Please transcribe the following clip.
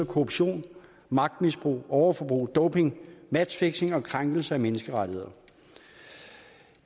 korruption magtmisbrug overforbrug doping matchfixing og krænkelser af menneskerettigheder